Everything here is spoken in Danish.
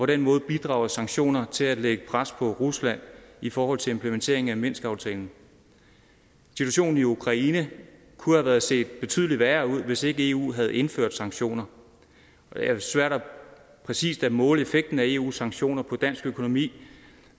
den måde bidrager sanktioner til at lægge pres på rusland i forhold til implementering af minskaftalen situation i ukraine kunne have set betydelig værre ud hvis ikke eu havde indført sanktioner det er svært præcist at måle effekten af eus sanktioner på dansk økonomi